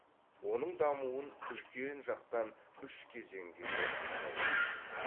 оның дамуын үлкен жақтан үш кезеңге бөліп қарауға болады